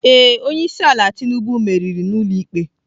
Ee. Onye isi ala Tinubu meriri n'ụlọikpe.